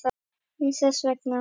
Aðeins þess vegna.